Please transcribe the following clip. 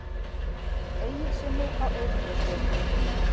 Egilssyni á Eyvindarstöðum.